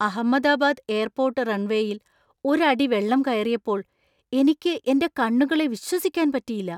Ahmedabad airport റൺവേയിൽ ഒരു അടി വെള്ളം കയറിയപ്പോൾ എനിക്ക് എന്‍റെ കണ്ണുകളെ വിശ്വസിക്കാൻ പറ്റിയില്ല.